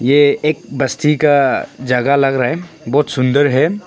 यह एक बस्ती का जगह लग रहा है बहुत सुंदर है।